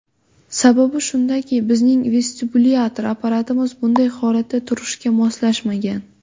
Sababi shundaki, bizning vestibulyar apparatimiz bunday holatda turishga moslashmagan.